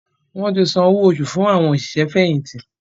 wọ́n ti san owo fún “ àwọn òṣìṣẹ́ fẹ̀yìntì”.